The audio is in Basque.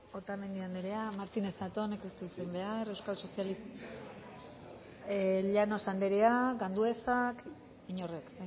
otamendi anderea martínez zatónek ez du hitz egin behar llanos andereak anduezak inorrek